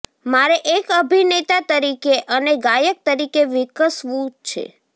મારે એક અભિનેતા તરીકે અને ગાયક તરીકે વિકસવું છે